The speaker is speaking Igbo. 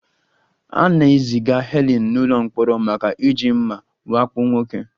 A na-eziga Helen n'ụlọ mkpọrọ maka iji mma wakpo nwoke